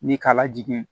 Ni ka lajigin